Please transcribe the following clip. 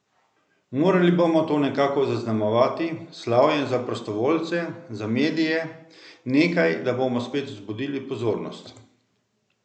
Morali bomo to nekako zaznamovati, s slavjem za prostovoljce, za medije, nekaj, da bomo spet vzbudili pozornost.